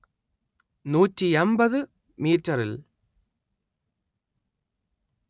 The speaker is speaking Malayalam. നൂടി അന്‍പത്ത് മീറ്ററിൽ